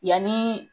Yanni